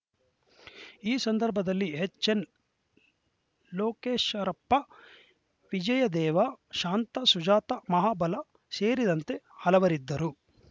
ಈ ಸಂದರ್ಭದಲ್ಲಿ ಎಚ್‌ಎನ್‌ ಲೋಕೇಶರಪ್ಪ ವಿಜಯದೇವ ಶಾಂತಾ ಸುಜಾತಾ ಮಹಾಬಲ ಸೇರಿದಂತೆ ಹಲವರಿದ್ದರು